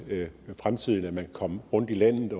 fremtidigt kan komme rundt i landet